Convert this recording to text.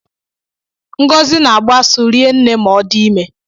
Ngọzi na-agbụ asụ rinne ma ọ dị ime.